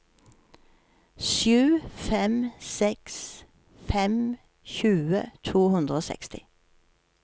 sju fem seks fem tjue to hundre og seksti